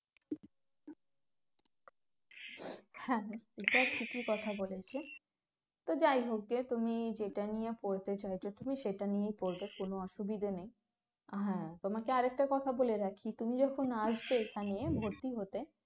হ্যাঁ হ্যাঁ সেটা ঠিকই কথা বলেছে তো যাই হোক যে তুমি যেটা নিয়ে পড়তে চাইছো তুমি সেটা নিয়েই পড়বে কোনো অসুবিধে নেই হ্যাঁ তোমাকে আর একটা কথা বলে রাখি তুমি যখন আসবে এখানে ভর্তি হতে